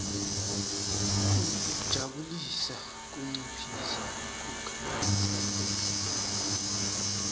kutijabulisa kunciphisa kukhatsateka